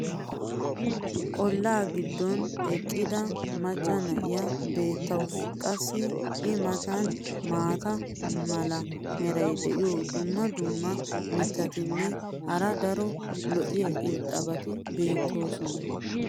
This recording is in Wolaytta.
olaa giddon eqqida macca na'iya beetawusu. qassi i matan maata mala meray diyo dumma dumma mitatinne hara daro lo'iya irxxabati beetoosona.